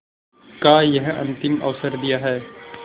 का यह अंतिम अवसर दिया है